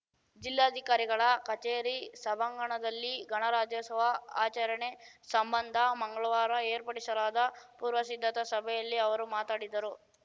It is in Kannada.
ಜಿಲ್ಲಾಧಿಕಾರಿಗಳ ಕಚೇರಿ ಸಭಾಂಗಣದಲ್ಲಿ ಗಣರಾಜ್ಯೋತ್ಸವ ಆಚರಣೆ ಸಂಬಂಧ ಮಂಗ್ಳವಾರ ಏರ್ಪಡಿಸಲಾದ ಪೂರ್ವಸಿದ್ಧತಾ ಸಭೆಯಲ್ಲಿ ಅವರು ಮಾತಡಿದರು